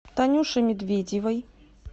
танюше медведевой